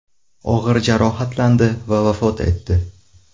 og‘ir jarohatlandi va vafot etdi.